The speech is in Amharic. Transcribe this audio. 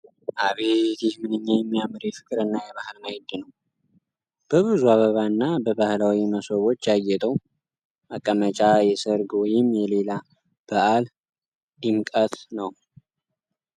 አቤት! ይህ ምንኛ የሚያምር የፍቅርና የባህል ማዕድ ነው። በብዙ አበባና በባህላዊ መሶቦች ያጌጠው መቀመጫ የሠርግ ወይም የሌላ በዓል ድምቀት ነው!